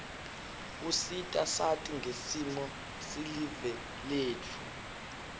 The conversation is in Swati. usita sati ngesimo silive letfu